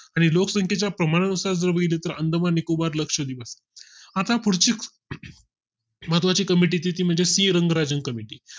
आणि लोकसंख्ये च्या प्रमाणा नुसार जर बघितलं तर अंदमान निकोबार लक्षव्दिप आता पुढची अं महत्वा ची COMMITIE ती म्हणजे सी रंगराजन COMMITIE